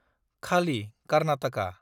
खालि - कारनाथाका